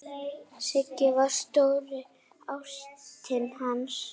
Sigga var stóra ástin hans.